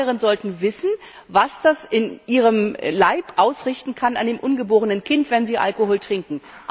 Alle Schwangeren sollten wissen, was das in ihrem Leib ausrichten kann an ihrem ungeborenen Kind, wenn sie Alkohol trinken.